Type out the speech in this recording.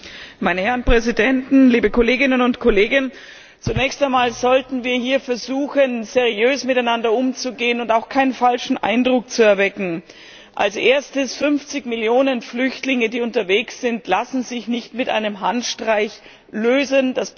Herr Präsident, meine Herren Präsidenten, liebe Kolleginnen und Kollegen! Zunächst einmal sollten wir hier versuchen, seriös miteinander umzugehen und auch keinen falschen Eindruck zu erwecken. Als Erstes Das Problem der 50 Millionen Flüchtlinge, die unterwegs sind, lässt sich nicht mit einem Handstreich lösen.